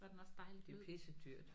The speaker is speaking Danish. Det er pissedyrt